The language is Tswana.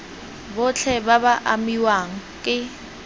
botlhe ba ba amiwang ke